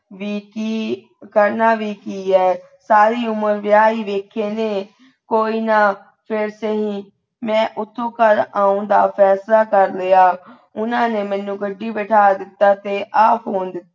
ਵੀ ਕੀ ਕਰਨਾ ਵੀ ਕੀ ਆਈ, ਸਾਰੀ ਉਮਰ ਵਿਆਹ ਹੀ ਵੇਖੇ ਨੇ ਕੋਈ ਨਾ ਫੇਰ ਸਹੀ। ਮੈਂ ਉਥੋਂ ਘਰ ਆਉਣ ਦਾ ਫੈਸਲਾ ਕਰ ਲਿਆ ਉਹਨਾਂ ਨੇ ਮੈਨੂੰ ਗੱਡੀ ਬੈਠਾ ਦਿੱਤਾ ਤੇ ਆਪ ,